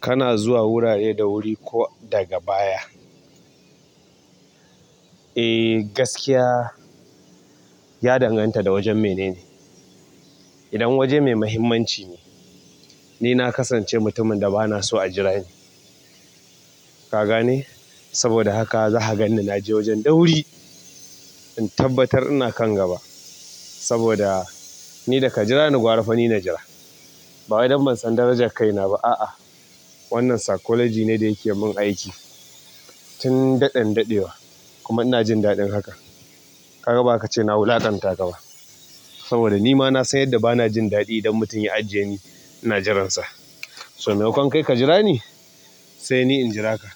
Kana zuwa wurare da wuri ko daga baya? Eh gaskiya ya danganta da wajen mene ne. Idan waje mai muhimmanci ne, ni na kasance mutumin da ba na so a jira ni. Kagane saboda haka zaka ganni naje wajen da wuri in tabbatar ina kan gaba saboda ni daka jirani gwara fa ni najira ba wai dan ban san darajar kaina ba. A'a wannan psychology ne da yake mun aiki tun daɗen daɗewa kuma ina jin daɗin haka. Ka ga bazaka ce na wulaƙanta ka ba saboda ni ma na san yadda bana jin daɗi idan mutum ya ajiye ni ina jiransa. So me makon kai ka jira ni sai ni in jira ka.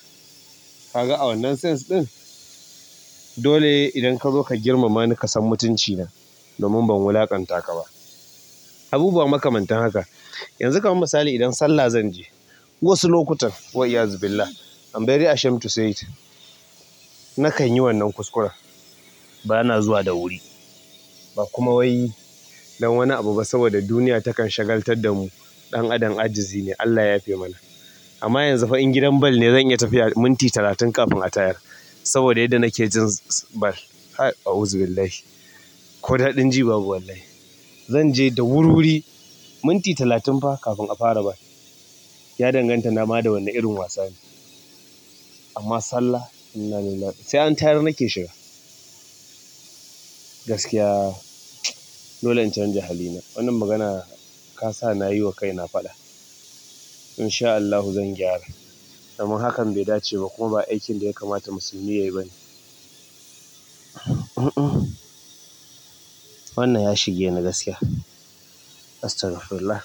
Ka ga a wannan sense ɗin? Dole idan ka zo ka girmama ni ka san mutunci na domin ban wulaƙanta ka ba. Abubuwa makamantan haka. Yanzu ka man misali idan sallah zan je. Wasu lokutan, wa iyazubillah, i am very ashame to say it, na kan yi wannan kuskuren. Ba na zuwa da wuri ba kuma wai yi dan wani abu ba saboda duniya takan shagaltar da mu. Ɗan adam ajizi ne Allah ya yafe mana. Amma yanzu fa in gidan ball ne zan iya tafiya minti talatin kafin a ta yar saboda yadda nake jin ball. A'uzu billahi. Ko daɗin ji babu wallahi. Zan je da wuri wuri minti talatin fa kafin a fara ball. Ya danganta nama da wane irin wasa ne. Amma sallah, innalillahi sai an tayar nake shiga. Gaskiya dole in canja hali na. Wannan magana ka sa na yi wa kaina faɗa. In sha Allahu zan gyara domin hakan bai dace ba kuma ba aikin da ya kamata musulmi yayi ba ne. Wannan ya shige ni gaskiya. Astagfirullah.